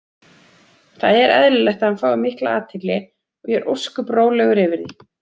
Það er eðlilegt að hann fái mikla athygli og ég er ósköp rólegur yfir því.